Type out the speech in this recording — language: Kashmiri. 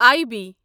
I B